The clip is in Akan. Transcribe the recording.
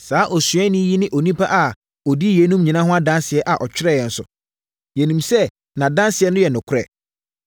Saa osuani yi ne onipa a ɔdi yeinom nyinaa ho adanseɛ na ɔtwerɛeɛ nso. Yɛnim sɛ nʼadanseɛ no yɛ nokorɛ.